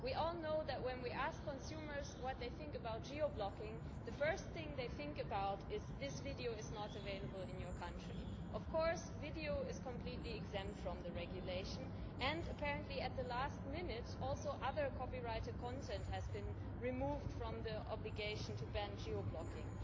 We all know that, when we ask consumers what they think about geo blocking, the first thing they think about is this video is not available in your country'. Video is, of course, completely exempt from the regulation and apparently at the last minute other copyrighted content has also been removed from the obligation to ban geo blocking.